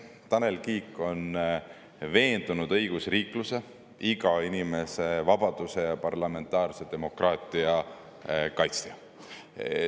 Tanel Kiik on veendunud õigusriikluse, iga inimese vabaduse ja parlamentaarse demokraatia kaitsja.